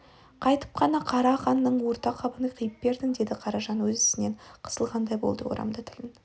қайтіп қана қара қндың орта қабын қиып бердің деді қаражан өз ісінен қысылғандай болды орамды тілін